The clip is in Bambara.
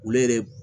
Olu yɛrɛ